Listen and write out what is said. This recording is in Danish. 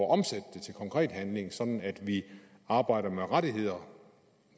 at omsætte det til konkret handling sådan at vi arbejder med rettigheder